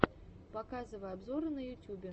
показывай обзоры на ютюбе